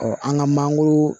an ka mangoro